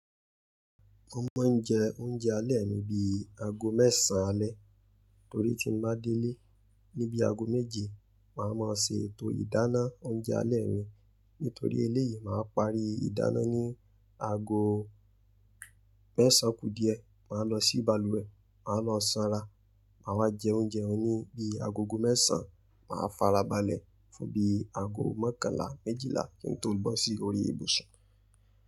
Mo máa ń jẹ oúnjẹ alẹ́ mi bíi aago mẹ́sàn alẹ́ torí tí mbá délé ní bíi aago méje, màá má ṣe ètò ìdáná oúnjẹ alẹ́ mi. Nítorí eléyìí, màá parí ìdáná ní aago mẹ́sàn kù díẹ̀, màá lọ sí bàlùwẹ̀, màá lọ sanra, màá wá jẹ oúnjẹ ọ̀ ń ní bí agogo méṣàn, màá fara balẹ̀ fún bí aago mọ́kànlá méjìlá kí n tó bó sí orí ìbùsùn.